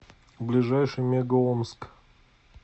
ближайший мега омск